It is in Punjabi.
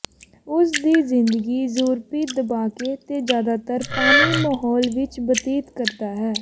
ਉਸ ਦੀ ਜ਼ਿੰਦਗੀ ਯੂਰਪੀ ਦਬਾਕੇ ਦੇ ਜ਼ਿਆਦਾਤਰ ਪਾਣੀ ਮਾਹੌਲ ਵਿਚ ਬਤੀਤ ਕਰਦਾ ਹੈ